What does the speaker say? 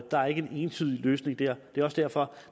der er ikke en entydig løsning der det er også derfor